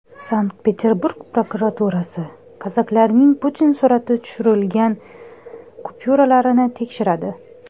Sankt-Peterburg prokuraturasi kazaklarning Putin surati tushirilgan kupyuralarini tekshiradi.